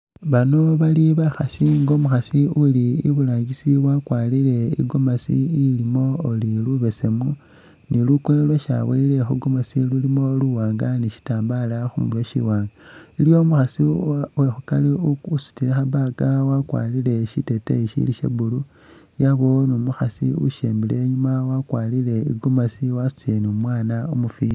Bano bali bakhasi nga umukhasi uli iburangisi wakwarire i'gomasi ilimo uri lubesemu, ni lukoye lwesi aboyile khu gomasi lulimo buwaanga ni shitambala khu murwe shiwaanga. Iliyo umukhasi uwe khukari usitile kha bag wakwarire shiteteyi shili sha blue yabawo ni umukhasi usembile inyuuma wakwarire i'gomasi wasutile ni umwaana umufwiti.